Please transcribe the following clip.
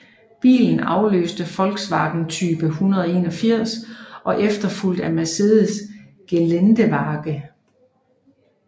Bilen afløste Volkswagen Typ 181 og efterfulgtes af Mercedes Geländewagen